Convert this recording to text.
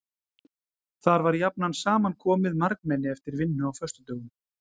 Þar var jafnan saman komið margmenni eftir vinnu á föstudögum.